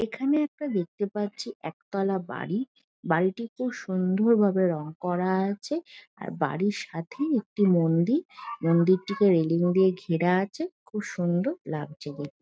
এখানে একটা দেখেত পাচ্ছি এক তোলা বাড়ি বাড়িটি খুব সুন্দর ভাবে রং কর আছে আর বাড়ির সাথে একটি মন্দির মন্দিরটিকে রেলিং দিয়ে ঘেরা আছে খুব সুন্দর লাগছে দেখতে ।